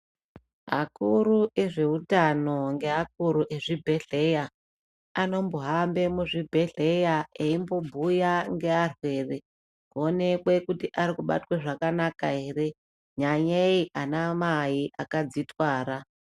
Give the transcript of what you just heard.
Akuru ezveutano ngeakuru ezvibhedhlera anombohambe muzvibhedhlera eimbobhuya ngearwere , kuonekwe kuti arikubatwe zvakanaka ere, nyanyei ana mai akadzitwara.